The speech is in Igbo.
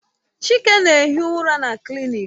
Chike na-ehi ụra na klịniki